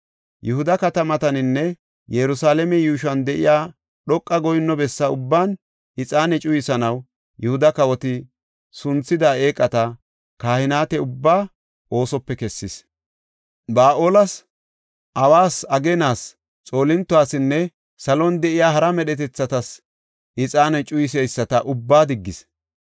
Yihuda katamataninne Yerusalaame yuushuwan de7iya dhoqa goyinno bessa ubban ixaane cuyisanaw Yihuda kawoti sunthida eeqata kahineta ubbaa oosope kessis. Ba7aales, awas, ageenas, xoolintotasinne salon de7iya hara medhetethatas ixaane cuyiseyisata ubbaa diggis.